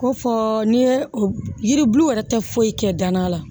Ko fɔ n'i ye yiribulu yɛrɛ tɛ foyi kɛ danna la